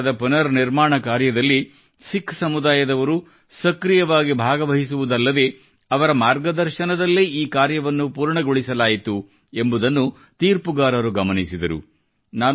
ಗುರುದ್ವಾರದ ಪುನರ್ ನಿರ್ಮಾಣ ಕಾರ್ಯದಲ್ಲಿ ಸಿಖ್ ಸಮುದಾಯದವರು ಸಕ್ರಿಯವಾಗಿ ಭಾಗವಹಿಸುವುದಲ್ಲದೆ ಅವರ ಮಾರ್ಗದರ್ಶನದಲ್ಲೇ ಈ ಕಾರ್ಯವನ್ನು ಪೂರ್ತಿಗೊಳಿಸಲಾಯಿತು ಎಂಬುದನ್ನು ತೀರ್ಪುಗಾರರು ಗಮನಿಸಿದರು